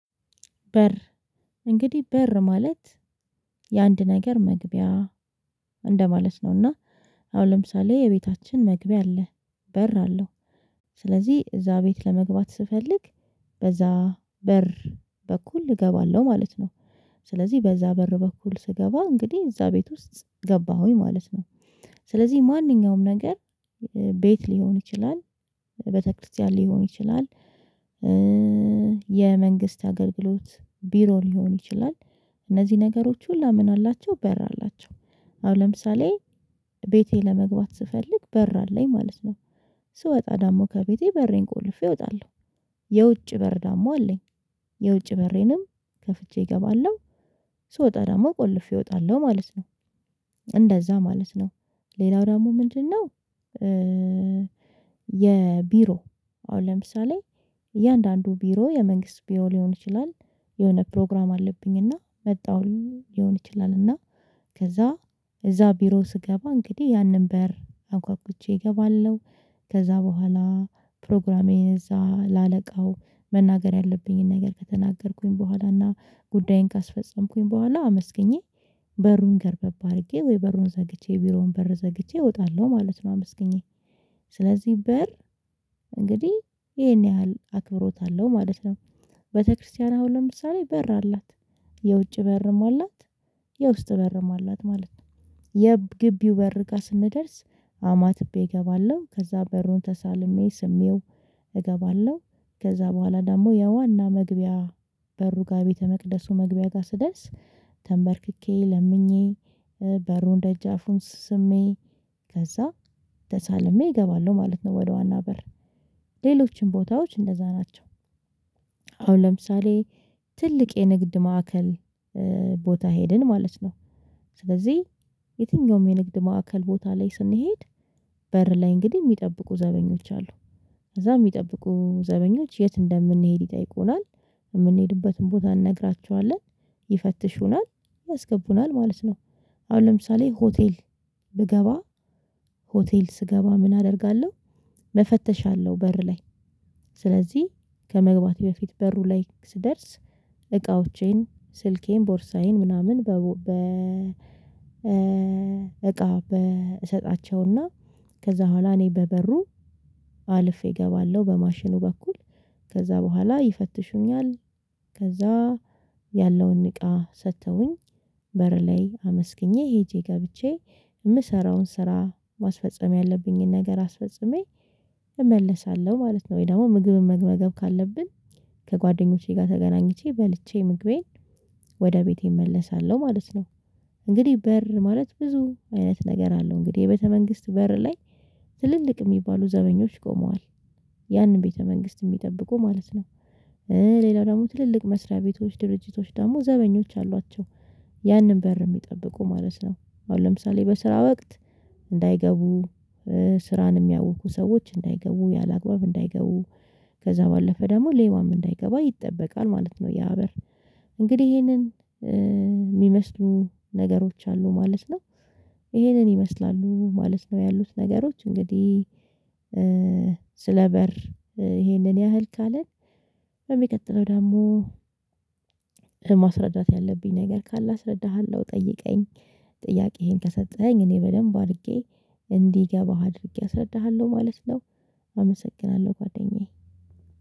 በር እንግዲህ በር ማለት የአንድ ነገር መግቢያ እንደማለት ነው። እና አሁን ለምሳሌ የቤታችን መግቢያ አለ በር አለው ስለዚህ እዛ ቤት ለመግባት ስፈልግ በዛ በር በኩል እገባለሁ ማለት ነው። ስለዚህ በዛ በር በኩል ስገባ እንግዲህ እዛ ቤት ውስጥ ገባሁኝ ማለት ነው። ስለዚህ ማንኛውም ነገር ቤት ሊሆን ይችላል ቤተክርስቲያን ሊሆን ይችላል። የመንግስት አገልግሎት ቢሮ ሊሆን ይችላል። እነዚህ ነገሮች ሁላ ምን አላቸው በር አላቸው? አሁን ለምሳሌ ቤቴ ለመግባት ስፈልግ በር አለኝ ማለት ነው። ስወጣ ደሞ ከቤቴ በሬን ቆልፌ እወጣለሁ። የውጭ በር ደሞ አለኝ። የውጭ በሬንም ከፍቼ እገባለሁ ስወጣ ዳደሞ ቆልፌ እወጣለሁ ማለት ነው። እንደዛ ማለት ነው ሌላው ደግሞ ምንድነው? የቢሮ አሁን ለምሳሌ እያንዳንዱ ቢሮ የመንግስት ቢሮ ሊሆን ይችላል። የሆነ ፕሮግራም አለብኝ እና መጣሁኝ ሊሆን ይችላል እና ከዛ እዛ ቢሮ ስገባ እንግዲህ ያንን በር አንኳኩቼ እገባለሁ። ከዛ በኋላ ፕሮግራሜን እዛ ለአለቃው መናገር ያለብኝን ነገር ከተናገርኩኝ በኋላ እና ጉዳዬን ካስፈጸምኩኝ በኋላ አመስግኜ በሩን ገረበብ አድርጌ ወይ በሩን ዘግቼ ቢሮውን በር ዘግቼ እወጣለሁ ማለት ነው። አመስግኜ ስለዚህ በር እንግዲህ ይሄን ያህል አክብሮት አለው ማለት ነው። ቤተክርስቲያን አሁን ለምሳሌ በር አላት። የውጭ በርም አላት። የውስጥ በርም አላት ማለት ነው። የግቢው በር ጋር ስንደርስ አማትቤ እገባለሁ ከዛ በሩን ተሳልሜ ስሜው እገባለሁ። ከዛ በኋላ ደግሞ የዋና መግቢያ በሩ ጋር ቤተ መቅደሱ መግቢያ ጋር ስደርስ ተንበርክኬ ለምኜ በሩን ደጃፉን ስሜ ከዛ ተሳልሜ እገባለሁ ማለት ነው። ወደ ዋና በር ሌሎችም ቦታዎች እንደዛ ናቸው። አሁን ለምሳሌ ትልቅ የንግድ ማዕከል ቦታ ሄድን ማለት ነው። ስለዚህ የትኛውም የንግድ ማዕከል ቦታ ላይ ስንሄድ በር ላይ እንግዲህ የሚጠብቁ ዘበኞች አሉ። ከዛ የሚጠብቁ ዘበኞች የት እንደምንሄድ ይጠይቁናል የምንሄድበትን ቦታ እንነግራችኋለን። ይፈትሹናል ያስገቡናል ማለት ነው። አሁን ለምሳሌ ሆቴል ብገባ ሆቴል ስገባ ምን አደርጋለሁ? መፈተሻ አለው በር ላይ ስለዚህ ከመግባቴ በፊት በሩ ላይ ስደርስ። እቃዎቼን ስልኬን ቦርሳዬን ምናምን በ እቃ በእሰጣቸውና ከዛ በኋላ እኔ በበሩ አልፌ እገባለሁ በማሽኑ በኩል ከዛ በኋላ ይፈትሹኛል። ከዛ ያለውን እቃ ሰጥተውኝ በር ላይ አመስግኜ ሄጄ ገብቼ የምሰራውን ስራ ማስፈጸም ያለብኝን ነገር አስፈጽሜ እመለሳለሁ ማለት ነው። ወይ ደግሞ ምግብን መግመገብ ካለብን ከጓደኞቼ ጋር ተገናኝቼ በልቼ ምግቤን ወደ ቤቴ እመለሳለሁ ማለት ነው። እንግዲህ በር ማለት ብዙ አይነት ነገር አለው እንግዲህ የቤተ መንግስት በር ላይ ትልልቅ የሚባሉ ዘበኞች ቆመዋል። ያንን ቤተ መንግስት የሚጠብቁ ማለት ነው። ሌላው ደግሞ ትልልቅ መስሪያ ቤቶች ድርጅቶች ደግሞ ዘበኞች አሏቸው። ያንን በር የሚጠብቁ ማለት ነው አሁን ለምሳሌ በስራ ወቅት እንዳይገቡ ስራን የሚያውኩ ሰዎች እንዳይገቡ ያላግባብ እንዳይገቡ ከዛ ባለፈ ደግሞ ሌባም እንዳይገባ ይጠበቃል ማለት ነው። ያ በር እንግዲህ ይሄንን የሚመስሉ ነገሮች አሉ ማለት ነው። ይሄንን ይመስላሉ ማለት ነው ያሉት ነገሮች እንግዲህ ስለ በር ይሄንን ያህል ካለን በሚቀጥለው ደግሞ ማስረዳት ያለብኝ ነገር ካለ አስረዳሃለሁ ጠይቀኝ ጥያቄዬን ከሰጠኸኝ እኔ በደንብ አድርጌ እንዲገባህ አድርጌ አስረድሃለሁ ማለት ነው። አመሰግናለሁ ጓደኛዬ